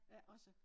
Ikke også